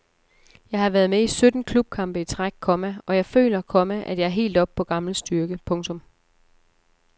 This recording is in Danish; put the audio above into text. Jeg har været med i sytten klubkampe i træk, komma og jeg føler, komma at jeg er helt oppe på gammel styrke. punktum